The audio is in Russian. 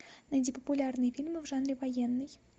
найди популярные фильмы в жанре военный